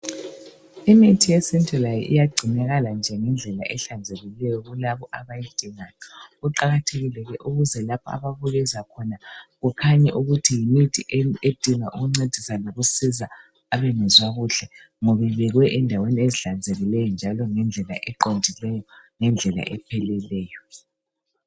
Imithi yesintu layo iyagcinakala nje ngendlela ehlanzekileyo kulabo abayidingayo. Kuqakathekile ke ukuze lapho ababukeza khona kukhanye ukuthi yimithi edinga ukuncedisa lokusiza abangezwa kuhle ngoba ibekwe endaweni ezihlanzekileyo njalo ngendlela eqondileyo ngendlela epheleleyo.